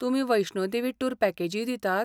तुमी वैष्णो देवी टूर पॅकेजीय दितात?